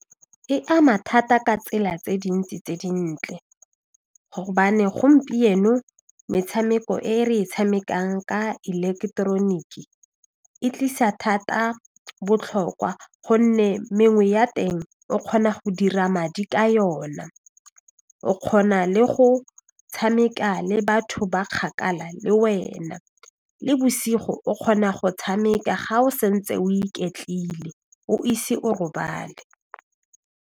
E ama thata ka tsela tse dintsi tse dintle gobane gompieno metshameko e re e tshamekang ka eleketeroniki e tlisa thata botlhokwa gonne mengwe ya teng o kgona go dira madi ka yona, o kgona le go tshameka le batho ba kgakala le wena, le bosigo o kgona go tshameka ga o sa ntse o iketlile o ise o robale.